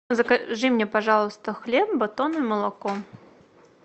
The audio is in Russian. закажи мне пожалуйста хлеб батон и молоко